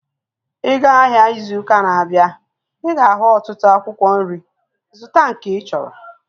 Ị ga-ahịa ịzụ ụkaa na-abịa ị ga-ahu ọtụtụ akwụkwọ nri, zụta nke ịchọrọ